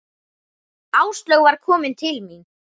Áslaug var komin til mín.